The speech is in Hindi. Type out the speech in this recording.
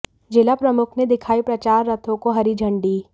जिला प्रमुख ने दिखाई प्रचार रथों को हरी झण्डी